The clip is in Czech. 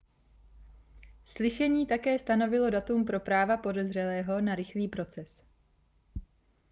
slyšení také stanovilo datum pro práva podezřelého na rychlý proces